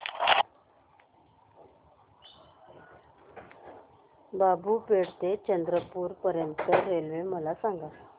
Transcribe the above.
बाबूपेठ ते चंद्रपूर पर्यंत रेल्वे मला सांगा